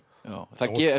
það